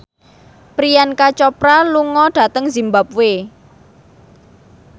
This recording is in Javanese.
Priyanka Chopra lunga dhateng zimbabwe